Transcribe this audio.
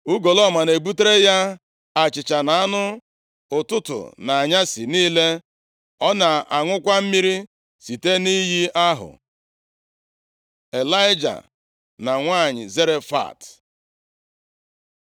Ugolọma na-ebutere ya achịcha na anụ, ụtụtụ na anyasị niile. Ọ na-aṅụkwa mmiri site nʼiyi ahụ. Ịlaịja na Nwanyị Zarefat